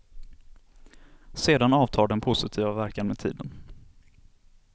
Sedan avtar den positiva verkan med tiden.